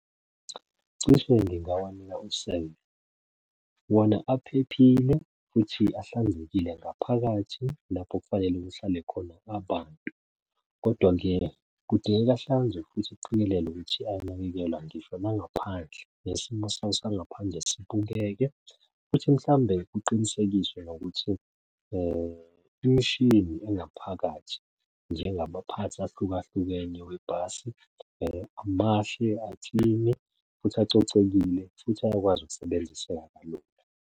Cishe ngingawanika . Wona aphephile futhi ahlanzekile ngaphakathi lapho kufanele kuhlale khona abantu, kodwa-ke kudingeka ahlanzwe isiqikelelo ukuthi anakekelwa ngisho nangaphandle. Nesimo sawo sangaphandle sibukeke futhi mhlawumbe kuqinisekiswe nokuthi imishini engaphakathi njengamaphathi ahlukahlukene webhasi mahle, aklini, futhi acocekile, futhi ayakwazi ukusebenziseka kalula.